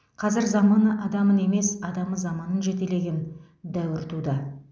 қазір заманы адамын емес адамы заманын жетелеген дәуір туды